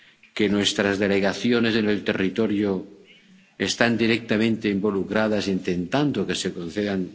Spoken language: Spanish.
que nuestras delegaciones en el territorio están directamente involucradas intentando que se concedan.